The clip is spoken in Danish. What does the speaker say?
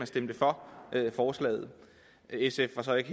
stemme for forslaget sf var så ikke